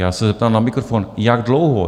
Já se zeptám na mikrofon, jak dlouho...